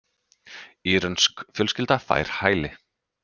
Írönsk fjölskylda fær hæli